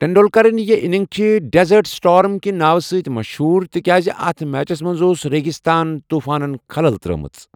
ٹنڈولکرٕن یہٕ اننگ چھِ 'desert storm' کہٕ ناو سۭتۍ مشہور، تِکیازِ اتھ میچس منٛز اوس ریگِستان طوٗفانن خَلَل ترٛٲمٕژ۔